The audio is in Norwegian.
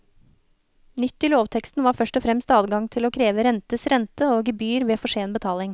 Nytt i lovteksten var først og fremst adgang til å kreve rentes rente og gebyr ved for sen betaling.